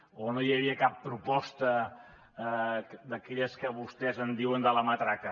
o no hi havia cap proposta d’aquelles que vostès en diuen de la matraca